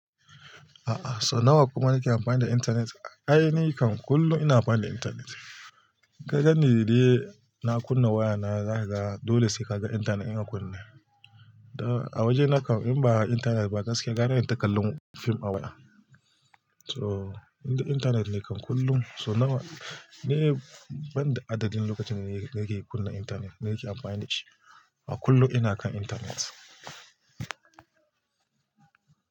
A'a so nawa kuma nake amfani da intanet, ai ni kam kullum ina amfani da intanet. Ka ganni dai na kunna waya na za ka ga dole sai ka ga intanet in a kunne. Da a waje na kam in ba intanet ba gaskiya gara in ta kallun fim a waya. So inda intanet ne kam kullum so nawa ni banda adadin lokacin da nake kunna intanet nake amfani da shi, a kullum ina kan intanet.